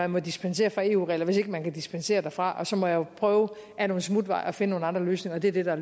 må dispensere fra eu reglerne hvis man ikke kan dispensere fra og så må jeg jo prøve ad nogle smutveje at finde nogle andre løsninger og det er det der